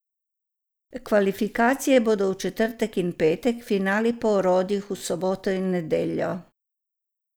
Kvalifikacije bodo v četrtek in petek, finali po orodjih v soboto in nedeljo.